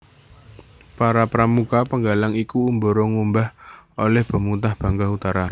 Para pramuka penggalang iku ngumbara ngupaya olih bebungah Bintang Utara